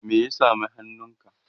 me ya sami hannunka?